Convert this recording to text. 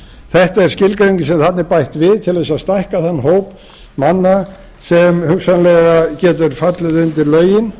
þetta er skilgreiningin sem þarna er bætt við til þess að stækka þann hóp manna sem hugsanlega getur fallið undir lögin